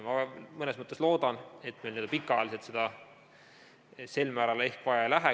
Ma mõnes mõttes loodan, et pikaajaliselt seda sel määral ehk vaja ei lähe.